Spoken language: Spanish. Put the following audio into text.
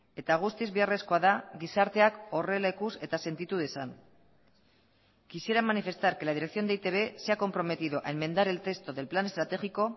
eta guztiz beharrezkoa da gizarteak horrela ikus eta sentitu dezan quisiera manifestar que la dirección de e i te be se ha comprometido a enmendar el texto del plan estratégico